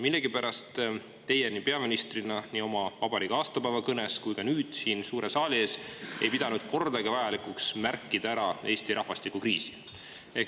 Millegipärast teie peaministrina ei oma vabariigi aastapäeva kõnes ega ka nüüd siin suure saali ees ei pidanud vajalikuks kordagi ära märkida Eesti rahvastikukriisi.